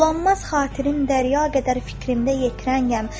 Bulanmaz xatirim, dərya qədər fikrimdə yetirənyəm.